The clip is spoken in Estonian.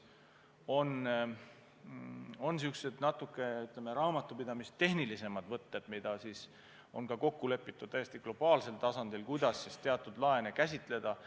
On ka niisugused natuke rohkem raamatupidamistehnilised võtted, mis on kokku lepitud lausa globaalsel tasandil, kuidas teatud laene käsitleda.